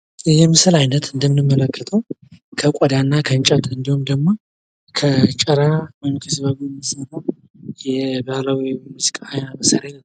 ይህ ምስል አይነት እንደምንመለከተው ከቆዳና ከእንጨት እንዲሁም ከጭራ ወይም ከሲር የሚሰራ ሙዚቃ መሳሪያ ነው።